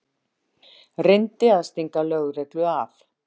Reyndi að stinga lögreglu af